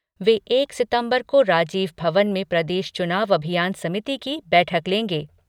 वे एक सितंबर को राजीव भवन में प्रदेश चुनाव अभियान समिति की बैठक लेंगे।